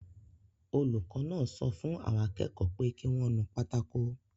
Olùkọ́ náà sọ fún àwọn akẹ́kọ̀ọ́ pé kí wọ́n nu pátákó